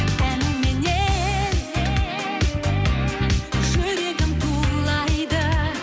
әніменен жүрегім тулайды